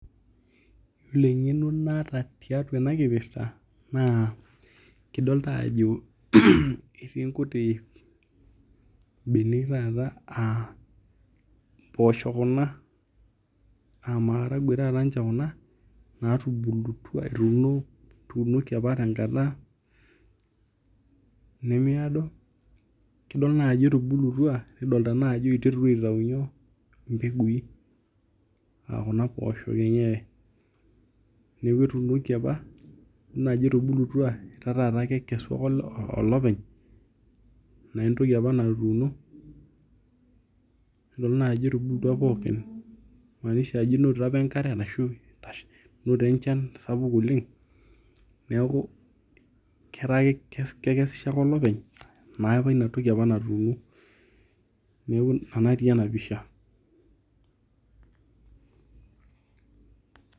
Ore eng'eno naata tiatua enakipirta na kidolta ajo etii nkuti benek taata aa mpoosho kuna amaragwe taata ninche kuna natubulutwa etuunoki ama ninche tenkata nemiado, kidolta ajo etubulutwa nikidolta ajo iterutua aitau mpekui aa kuna poosho, neaku etuunoki apa etubulutwa neaku ata ekesu ake olopeny na entoki apa natuuno, ajo etubulutwa pookin inonotito apa enkare inotito enchan neaku ata kekesisho ake olopeny na entoki apa natuuno, neaku ena natii enapisha.